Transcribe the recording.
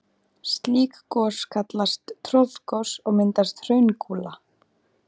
Slík gos kallast troðgos og mynda hraungúla.